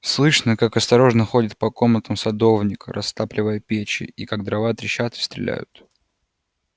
слышно как осторожно ходит по комнатам садовник растапливая печи и как дрова трещат и стреляют